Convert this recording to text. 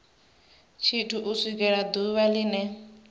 tshithu u swikela ḓuvha line